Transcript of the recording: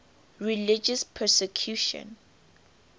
religious persecution